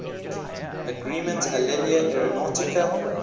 agreement alenia aeronautica